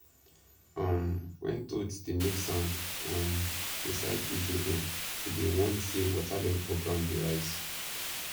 um when toads dey make sound um inside hidden hole e dey warn say water level for ground dey rise